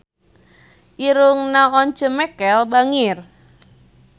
Irungna Once Mekel bangir